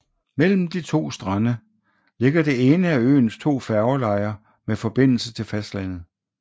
Mellem de to strande ligger det ene af øens to færgelejer med forbindelse til fastlandet